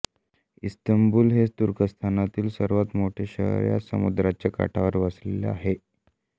Istanbul हे तुर्कस्तानातील सर्वांत मोठे शहर याच समुद्राच्या काठावर वसलेले आहे